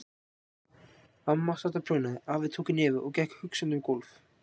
Amma sat og prjónaði, afi tók í nefið og gekk hugsandi um gólf.